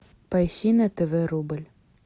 поищи на тв рубль